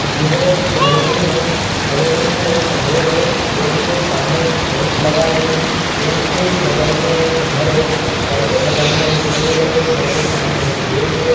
यह एक कालोनी है कॉलोनी में एक रोड है रोड के सामने एक टेंट लगा है टेंट के ही बगल में एक घर है घर के बगल में एक पेड़ है घर के सामने एक गेट है।